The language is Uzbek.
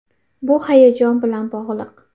Bu hayajon bilan bog‘liq.